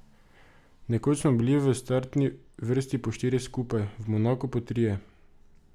Nekoč smo bili v startni vrsti po štirje skupaj, v Monaku po trije.